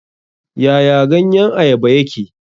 Yaya ganyen Ayaba yake?